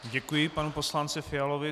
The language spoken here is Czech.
Děkuji panu poslanci Fialovi.